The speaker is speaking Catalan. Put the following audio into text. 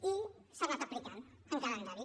i s’ha anat aplicant amb calendari